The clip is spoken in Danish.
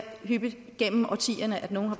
hyppigt gennem årtierne at nogle har